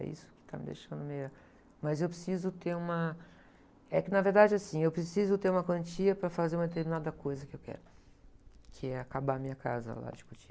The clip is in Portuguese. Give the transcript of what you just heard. É isso que está me deixando meio... Mas eu preciso ter uma... É que, na verdade, assim, eu preciso ter uma quantia para fazer uma determinada coisa que eu quero, que é acabar a minha casa lá de Cotia.